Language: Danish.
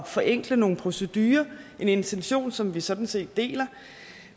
forenkle nogle procedurer en intention som vi sådan set deler